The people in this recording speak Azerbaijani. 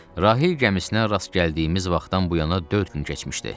Rahil gəmisinə rast gəldiyimiz vaxtdan bu yana dörd gün keçmişdi.